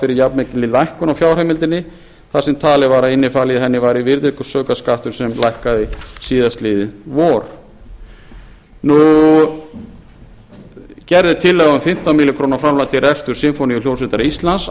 fyrir jafnmikilli lækkun á fjárheimildinni þar sem talið var að inni í henni væri virðisaukaskattur sem lækkaði síðastliðið vor gerð er tillaga um fimmtán milljónir króna framlag til reksturs sinfóníuhljómsveitar íslands